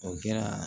O kɛra